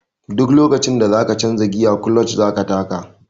Duk lokacin da za ka canja giya kuloc za ka taka.